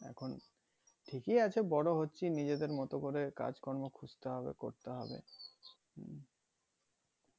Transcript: এখন ঠিকি আছে বড়ো হচ্ছি নিজেদের মতো করে কাজ কর্ম খুঁজতে হবে করতে হবে